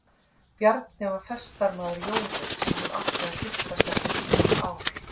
Bjarni var festarmaður Jóru sem hún átti að giftast eftir þrjú ár.